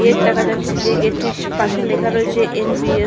Gate দেখা যাচ্ছে যে গেট -টির পাশে লেখা রয়েছে এন. বি. এ. ।